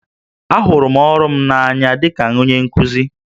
Ahụrụ m ọrụ m n'anya dị ka onye nkuzi